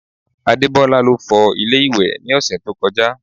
Adebola ló fọ ilé ìwẹ̀ ní ọ̀sẹ̀ tó kọjá